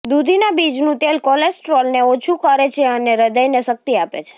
દૂધીના બીજનુ તેલ કોલેસ્ટ્રોલને ઓછુ કરે છે અને હ્રદયને શક્તિ આપે છે